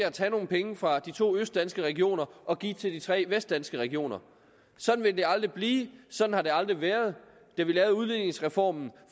at tage nogle penge fra de to østdanske regioner og give til de tre vestdanske regioner sådan vil det aldrig blive sådan har det aldrig været da vi lavede udligningsreformen